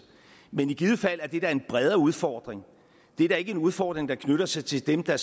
men i givet fald er det da en bredere udfordring det er da ikke en udfordring der knytter sig til dem der